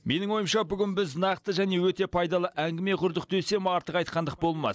менің ойымша бүгін біз нақты және өте пайдалы әңгіме құрдық десем артық айтқандық болмас